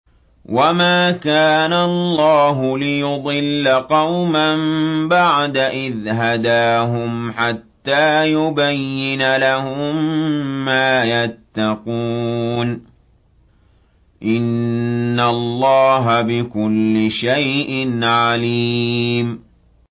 وَمَا كَانَ اللَّهُ لِيُضِلَّ قَوْمًا بَعْدَ إِذْ هَدَاهُمْ حَتَّىٰ يُبَيِّنَ لَهُم مَّا يَتَّقُونَ ۚ إِنَّ اللَّهَ بِكُلِّ شَيْءٍ عَلِيمٌ